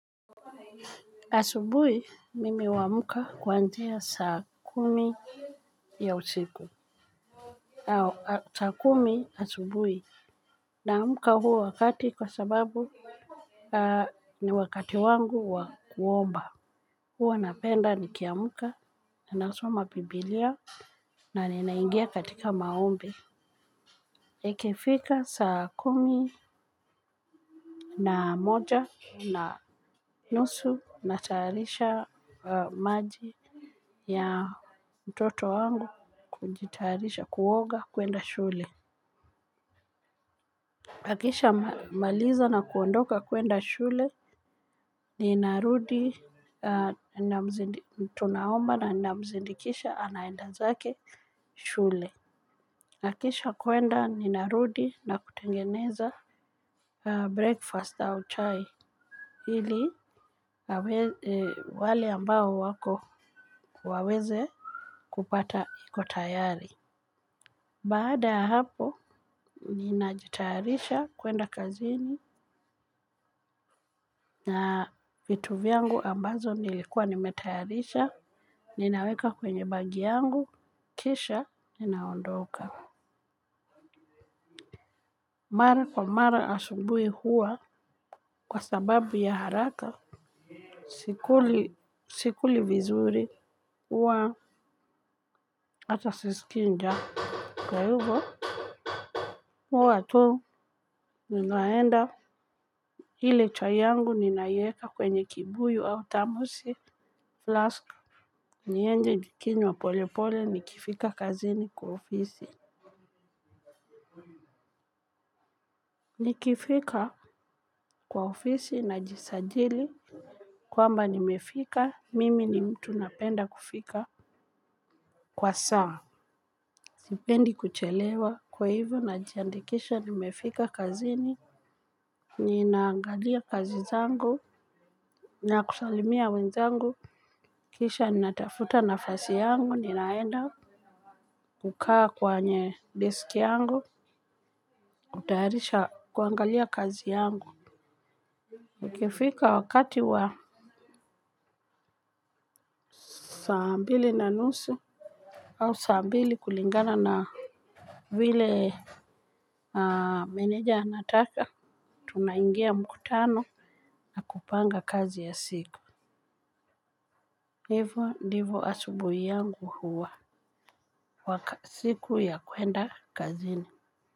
Asubuhi mimi huamka kuanzia saa kumi ya usiku. Saa kumi asubuhi naamka huo wakati kwa sababu ni wakati wangu wa kuomba. Huwa napenda nikiamuka nasoma biblia na ninaingia katika maombi ikifika saa kumi. Na moja na nusu natayarisha maji ya mtoto wangu kujitayarisha kuoga kwenda shule. Akishamaliza na kuondoka kuenda shule. Ninarudi tunaomba na namzindikisha anaenda zake shule. Akisha kuenda ninarudi na kutengeneza breakfast au chai ili wale ambao wako waweze kupata iko tayari. Baada ya hapo, ninajitaharisha kwenda kazini na vitu vyangu ambazo nilikuwa nimetayarisha, ninaweka kwenye begi yangu, kisha, ninaondoka. Mara kwa mara asubuhi huwa kwa sababu ya haraka, sikuli vizuri huwa hata sisikii njaa kwahivo. Huwa tu ninaenda ile chai yangu ninaieka kwenye kibuyu au tamusi flask. Niende nikinywa pole pole nikifika kazini kwa ofisi. Nikifika kwa ofisi najisajili kwamba nimefika mimi ni mtu napenda kufika kwa saa. Zipendi kuchelewa kwa hivyo najiandikisha nimefika kazini. Ninaangalia kazi zangu nakusalimia wenzangu kisha ninatafuta nafasi yangu ninaenda kukaa kwenye disk yangu kutayarisha kuangalia kazi yangu. Ukifika wakati wa saa mbili na nusu au saa mbili kulingana na Vile Meneja anataka tunaingia mkutano. Na kupanga kazi ya siku. Hivo ndivo asubuhi yangu huwa. Kwa siku ya kwenda kazini.